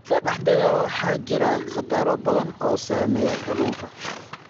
Badda dhexdeeda waxaa jira khataro badan oo saameeya kalluunka.